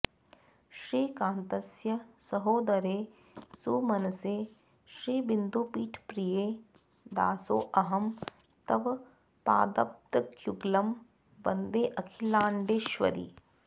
श्रीकान्तस्य सहोदरे सुमनसे श्रीबिन्दुपीठप्रिये दासोऽहं तव पादपद्मयुगलं वन्देऽखिलाण्डेश्वरि